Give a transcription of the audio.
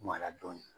Mara dɔɔnin